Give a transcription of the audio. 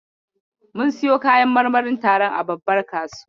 Mun siyo kayan marmarin taron a babbar kasuwa.